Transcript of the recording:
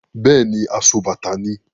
Bẹ́ẹ̀ni, asobàtà ni.